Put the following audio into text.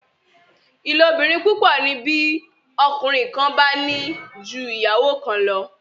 ìlóbìrin púpọ ni bí ọkùnrin kán bá ní jù ìyàwó kán lọ